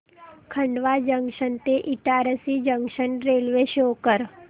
Khandwa junction ते Itarsi junction railway show कर